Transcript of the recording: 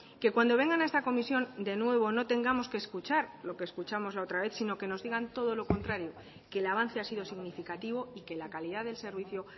que cuando vengan a esta comisión de nuevo no tengamos que escuchar lo que escuchamos la otra vez sino que nos digan todo lo contrario que el avance ha sido significativo y que la calidad del servicio